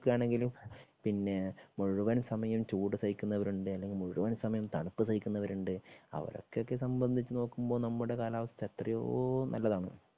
നമ്മള് നോക്കുകയാണെങ്കിലും പിന്നെ മുഴുവൻ സമയം ചൂട് സാഹിക്കുന്നവരുണ്ട്അല്ലെങ്കിൽ ൽ മുഴുവൻ സമയം തണുപ്പ് സാഹിക്കുന്നവരുണ്ട്. അവരെയൊക്കെ സംബന്ധിച്ച് നോക്കുമ്പോ നമ്മുടെ കാലാവസ്ഥ എത്രയോ നല്ലതാണ്.